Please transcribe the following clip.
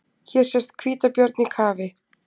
Hér sést hvítabjörn í kafi.